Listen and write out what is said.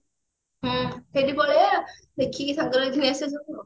ହଁ ସେଇଠିକି ପଳେଇବା ଦେଖିକି ସାଙ୍ଗରେ ଘିନି ଆସିବା ସବୁ ଆଉ